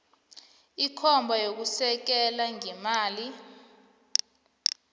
ikomba yokusekela ngeemali